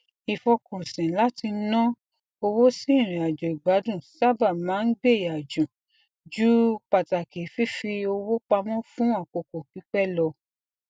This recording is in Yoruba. ìfọkànsìn láti na owó sí ìrìnàjò igbadún sábà máa ń gbéyà ju ju pataki fífi owó pamọ fún àkókò pípẹ lọ